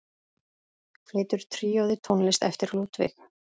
Flytur tríóið tónlist eftir Ludvig.